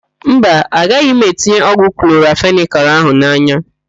Mba, agaghị m etinye ọgwụ kloramfenịkal ahụ n'anya.